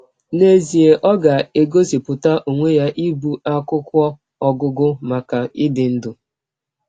N’ezie ọ ga - egosipụta ọnwe ya ịbụ akwụkwọ ọgụgụ maka ịdị ndụ!